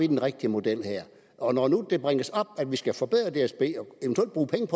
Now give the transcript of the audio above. den rigtige model her og når nu det bringes op at vi skal forbedre dsb